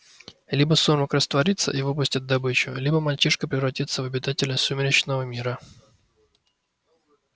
либо сумрак растворится и выпустит добычу либо мальчишка превратится в обитателя сумеречного мира